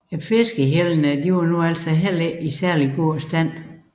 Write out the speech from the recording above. Endvidere var fiskehjellene heller ikke i særlig god stand